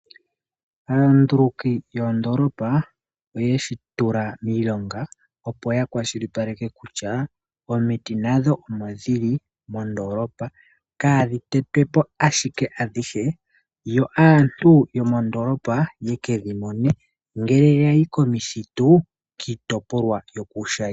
Aanduluki yoondolopa oyeshi tula miilonga opo ya kwashilipaleke kutya omiti nadho omo dhili mondolopa kadhi tetwepo ashike adhihe yo aantu yomondolopa yeke dhi mone ngele yayi komithitu kiitopolwa yokuushayi.